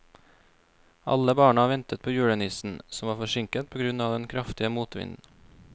Alle barna ventet på julenissen, som var forsinket på grunn av den kraftige motvinden.